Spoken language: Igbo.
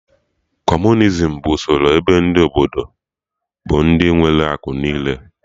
Kọmunizim bụ usoro ebe ndị Obodo bụ ndị nwere akụ niile